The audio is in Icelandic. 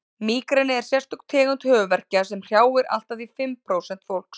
mígreni er sérstök tegund höfuðverkja sem hrjáir allt að því fimm prósent fólks